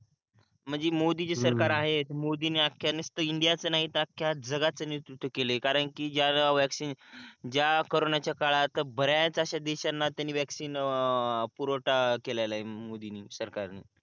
म्हणजे मोदी जे हम्म सरकार आहे मोदी ने आख्या निस्त इंडिया च नाही तर आख्या जागाच नेतृत्व केलय कारण कि ज्या ज्या वॅक्सिन ज्या कॉरोना च्या काळात बऱ्याच अशा देशांना त्याने वॅक्सिन पुरवठा केलेलाय मोदीनी सरकारनी